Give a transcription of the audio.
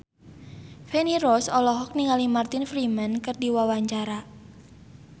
Feni Rose olohok ningali Martin Freeman keur diwawancara